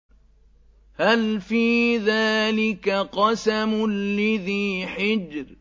هَلْ فِي ذَٰلِكَ قَسَمٌ لِّذِي حِجْرٍ